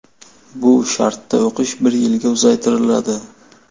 Bu shartda o‘qish bir yilga uzaytiriladi.